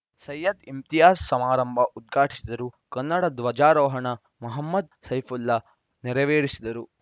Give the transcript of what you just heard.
ಸೈಯದ್‌ ಇಮ್ತಿಯಾಜ್‌ ಸಮಾರಂಭ ಉದ್ಘಾಟಿಸಿದರು ಕನ್ನಡ ಧ್ವಜಾರೋಹಣ ಮಹಮ್ಮದ್‌ ಸೈಪುಲ್ಲಾ ನೆರವೇರಿಸಿದರು